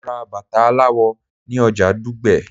Mo ra bàtà aláwọ̀ ni oja Dugbe